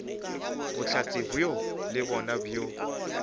bohlatse bjoo le bjona bo